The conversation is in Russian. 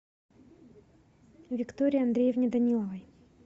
виктории андреевне даниловой